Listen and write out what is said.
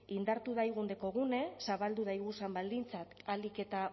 indartu daigun dekogune zabaldu daiguzan baldintzak ahalik eta